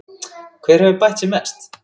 Hver hefur bætt sig mest?